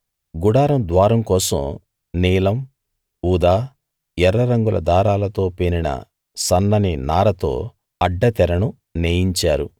గుడారం ద్వారం కోసం నీలం ఊదా ఎర్ర రంగుల దారాలతో పేనిన సన్నని నారతో అడ్డ తెరను నేయించారు